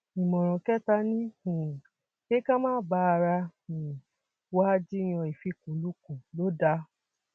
ìmọràn kẹta ni um pé ká má bá ara um wa jiyàn ìfikùnlukùn lọ dáa